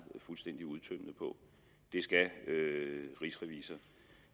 fuldstændig udtømmende på det skal rigsrevisor